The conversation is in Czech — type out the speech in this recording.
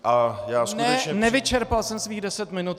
Ne, nevyčerpal jsem svých deset minut.